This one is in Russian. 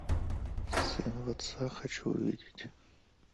сын в отца хочу увидеть